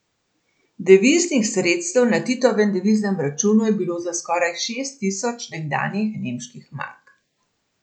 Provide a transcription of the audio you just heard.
Deviznih sredstev na Titovem deviznem računu je bilo za skoraj šest tisoč nekdanjih nemških mark.